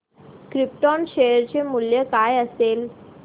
krypton share चे मूल्य काय असेल